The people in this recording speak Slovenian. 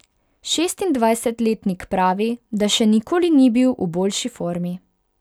Šestindvajsetletnik pravi, da še nikoli ni bil v boljši formi.